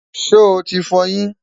sho tí f'oyin?